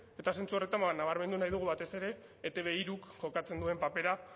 eta zentzu horretan nabarmendu nahi dugu batez ere etb hiruk jokatzen duen papera